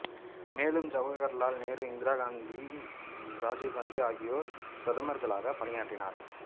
மேலும் ஜவகர்லால் நேரு இந்திரா காந்தி ராஜீவ் காந்தி ஆகியோர் பிரதமர்களாக பணியாற்றினர்